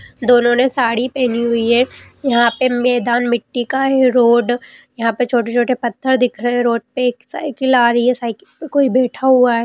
दोनों ने साड़ी पहनी हुई है। यहाँ पे मैदान मिट्टी का है रोड यहाँ पे छोटे-छोटे पत्थर दिख रहे है रोड पे एक साइकिल आ रही है साइकिल पे कोई बैठा हुआ है|